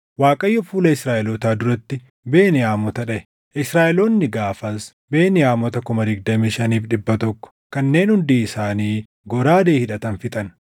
Waaqayyo fuula Israaʼelootaa duratti Beniyaamota dhaʼe; Israaʼeloonni gaafas Beniyaamota 25,100 kanneen hundi isaanii goraadee hidhatan fixan.